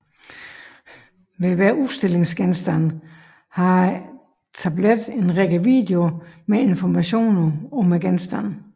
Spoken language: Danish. Ved hver udstillingsgenstand har tabletten en række videoer med informationer om genstanden